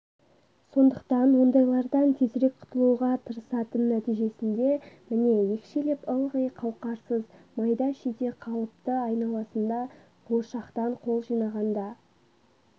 сондықтан ондайлардан тезірек құтылуға тырысатын нәтижесінде міне екшеліп ылғи қауқарсыз майда-шүйде қалыпты айналасында қуыршақтан қол жинағанда